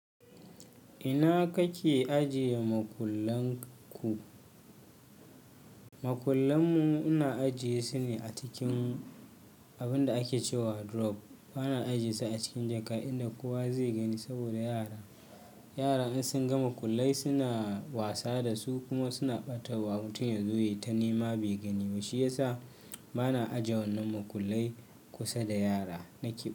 Ina kake ajiye makullan ku? Makullan mu ina ajiye su ne a cikin abin da ake cewa drawer. Bana ajiyesu a cikin jaka inda kowa zai gani saboda yara, yara in sun ga makullai suna wasa da su kuma suna ɓatawa. Mutum yazo ya ta nema bai gani ba, shi ya sa bana aje wannan makullai kusa da yara nake.